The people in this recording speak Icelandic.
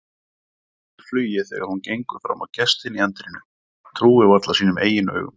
Missir flugið þegar hún gengur fram á gestinn í anddyrinu, trúir varla sínum eigin augum.